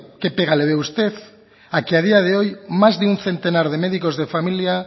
qué pega le ve usted a que a día de hoy más de un centenar de médicos de familia